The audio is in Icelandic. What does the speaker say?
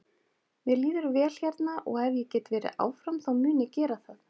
Mér líður vel hérna og ef ég get verið áfram þá mun ég gera það.